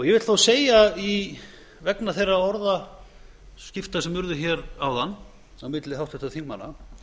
ég vil á segja vegna þeirra orðaskipta sem urðu hér áðan á milli háttvirtra þingmanna